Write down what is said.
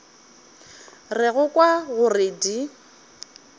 re go kwa gore di